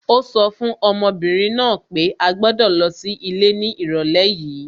Ó sọ fún ọmọbìnrin náà pé à gbọ́dọ̀ lọ sí ilé ní ìrọ̀lẹ́ yìí